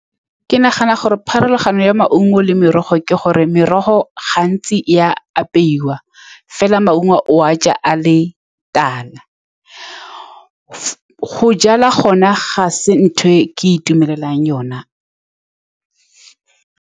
Ke nagana gore pharologano ya maungo le merogo ke gore merogo gantsi e a apeiwa fela. Maungo o a ja a le tala go jala gone ga se ntho e ke itumelelang yone.